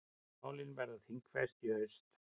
Málin verða þingfest í haust.